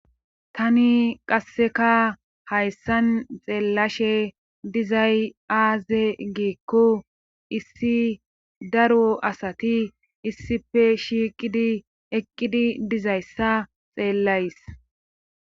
Tani qasseka hayssan xeellashe dizay aaze giikko issi daro asati issife shiiqidi eqqidi dizayssa xeellays.